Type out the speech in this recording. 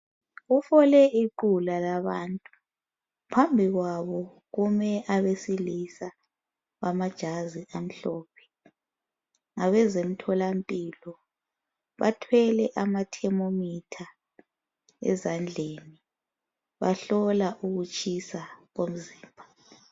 Kufole iqhula labantu phambi kwabo kume abesilisa bamajazi amhlophe ngabezemtholampilo bathwele ama thermometer ezandleni bahlola ukutshisa komzimba .